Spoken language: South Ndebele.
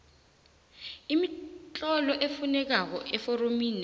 imitlolo efunekako eforomineli